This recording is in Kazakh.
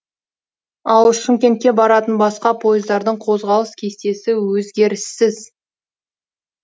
ал шымкентке баратын басқа пойыздардың қозғалыс кестесі өзгеріссіз